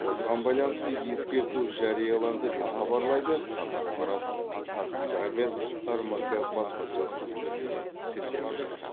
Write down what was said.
осыған байланысты ескерту жарияланды деп хабарлайды қазақпарат қазгидромет рмк баспасөз қызметіне сілтеме жасап